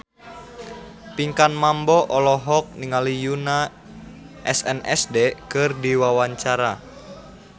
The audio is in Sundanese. Pinkan Mambo olohok ningali Yoona SNSD keur diwawancara